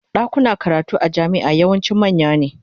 Dakunan karatu a jami'a yawanci manya ne.